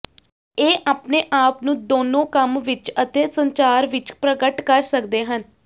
ਇਹ ਆਪਣੇ ਆਪ ਨੂੰ ਦੋਨੋ ਕੰਮ ਵਿਚ ਅਤੇ ਸੰਚਾਰ ਵਿੱਚ ਪ੍ਰਗਟ ਕਰ ਸਕਦੇ ਹਨ